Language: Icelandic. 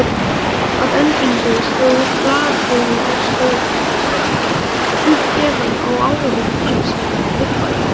Að endingu stóð blaðurskjóðan á fætur, uppgefin á áhugaleysi viðmælandans.